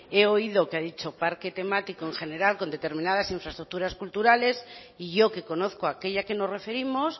he oído que ha dicho parque temático en general con determinadas infraestructuras culturales y yo que conozco aquella que nos referimos